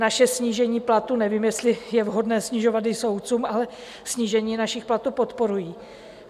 Naše snížení platu - nevím, jestli je vhodné snižovat i soudcům, ale snížení našich platů podporuji.